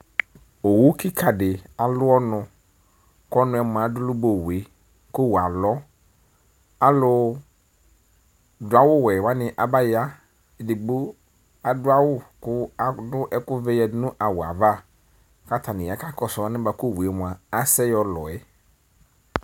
Owu kika di alʋ ɔnukʋ ɔnu yɛ mua adʋlʋ ba owu yɛkʋ owuyɛ alɔ alu dʋ awʋ wɛ wani abayaedigbo adu awʋ kʋ adʋ ɛkuvɛ yadu nu awu yɛ'avaku atani ya kakɔsu alɛnɛ buaku owuyɛ mua asɛ yɔlɔ yɛ